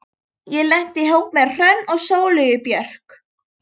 Ég lenti í hópi með Hrönn og Sóleyju Björk.